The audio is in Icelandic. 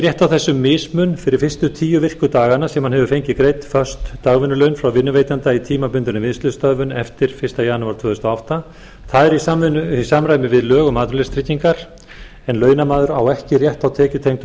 rétt á þessum mismun fyrir fyrstu tíu virku dagana sem hann hefur fengið greidd föst dagvinnulaun frá vinnuveitanda í tímabundinni vinnslustöðvun eftir fyrsta janúar tvö þúsund og átta það er í samræmi við lög um atvinnuleysistryggingar en launamaður á ekki rétt á tekjutengdum